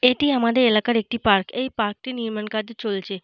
এটি আমাদের এলাকার একটি পার্ক । এই পার্ক টির নির্মাণ কার্য চলছে।